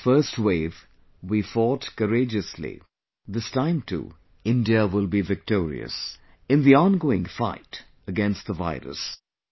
In the first wave, we fought courageously; this time too India will be victorious in the ongoing fight against the virus